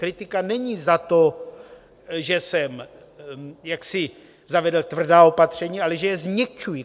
Kritika není za to, že jsem jaksi zavedl tvrdá opatření, ale že je změkčuji.